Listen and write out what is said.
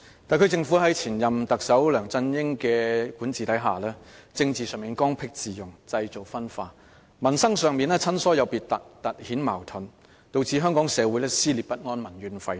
特區政府在前任特首梁振英的管治下，在政治上剛愎自用，製造分化；在民生上親疏有別，突顯矛盾，導致香港社會撕裂不安，民怨沸騰。